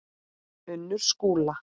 Unnur Skúla.